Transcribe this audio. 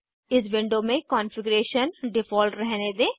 इस विंडो में configuration default रहने दें